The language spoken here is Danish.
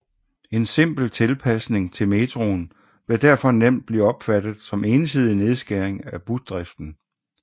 En simpel tilpasning til metroen ville derfor nemt blive opfattet som ensidig nedskæring af busdriften